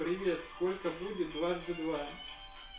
привет сколько будет дважды два